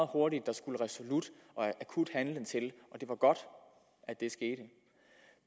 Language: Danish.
hurtigt der skulle resolut og akut handling til det var godt at det skete